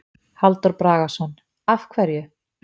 Halldór Bragason: Af hverju?